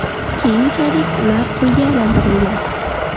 Keyinchalik ular qulga aylantirilgan.